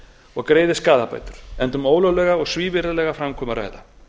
og greiði skaðabætur enda um ólöglega og svívirðilega framkomu að ræða